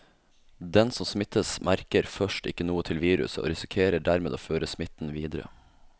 Den som smittes, merker først ikke noe til viruset og risikerer dermed å føre smitten videre.